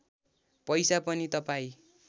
पैसा पनि तपाईँ